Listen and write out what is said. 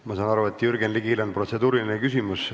Ma saan aru, et Jürgen Ligil on protseduuriline küsimus.